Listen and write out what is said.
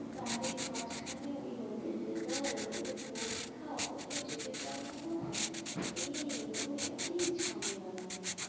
তাদের মাঝখানে ওদের result ওদের পরীক্ষা কোথাও যেতে পারবো না, এই ওই অনেক ঝামেলা লাগে